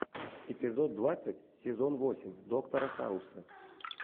эпизод двадцать сезон восемь доктора хауса